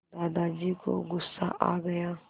दादाजी को गुस्सा आ गया